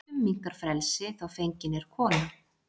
Flestum minnkar frelsi þá fengin er kona.